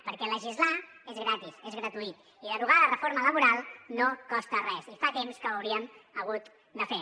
perquè legislar és gratis és gratuït i derogar la reforma laboral no costa res i fa temps que ho hauríem hagut de fer